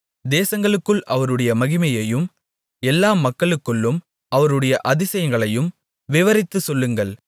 தேசங்களுக்குள் அவருடைய மகிமையையும் எல்லா மக்களுக்குள்ளும் அவருடைய அதிசயங்களையும் விவரித்துச் சொல்லுங்கள்